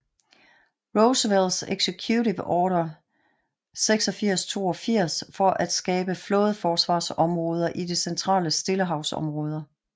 Roosevelt Executive order 8682 for at skabe flådeforsvarsområder i de centrale Stillehavsområder